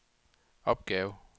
opgave